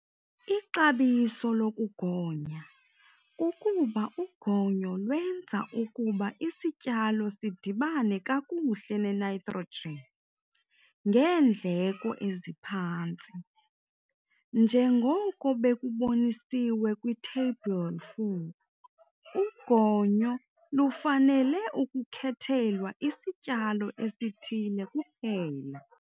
Ixabiso lokugonya kukuba ugonyo lwenza ukuba isityalo sidibane kakuhle nenitrogen ngeendleko eziphantsi. Njengoko bekubonisiwe kwiTheyibhile 4, ugonyo lufanele ukukhethelwa isityalo esithile kuphela.